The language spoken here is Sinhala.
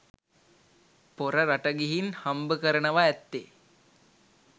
පොර රට ගිහින් හම්බකරනව ඇත්තෙ